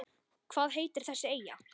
Hvað heitir þessi eyja?